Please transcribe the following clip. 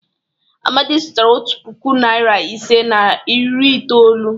Amadi zụtara otu puku, narị ise na iri itoolu.